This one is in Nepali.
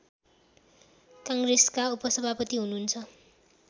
काङ्ग्रेसका उपसभापति हुनुहुन्छ